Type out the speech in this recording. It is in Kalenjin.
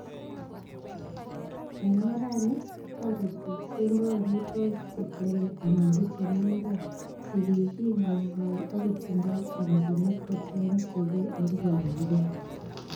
En orani, toritik keboi amitwogik che kiole, anan ko chemi imbar che kikingolngol ak kotindoi chomchinet ko cheng chigee en kiwanjet.